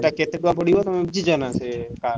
ସେଟା କେତେ ଟଙ୍କା ପଡିବ ତମେ ବୁଝିଛ ନା ସେ car ?